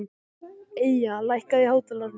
Eyja, lækkaðu í hátalaranum.